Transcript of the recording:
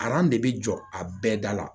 de bɛ jɔ a bɛɛ da la